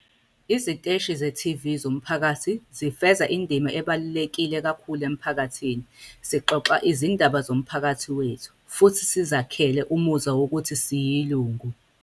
"Iziteshi ze-TV zomphakathi zifeza indima ebaluleke kakhulu emiphakathini - sixoxa izindaba zomphakathi wethu futhi sizakhele umuzwa wokuthi siyilungu."